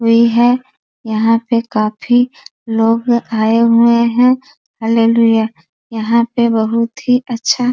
हुई है यहाँ पे काफी लोग आए हुए हैं यहाँ पे बहोत ही अच्छा --